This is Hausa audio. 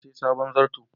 Na siya sabon zarto.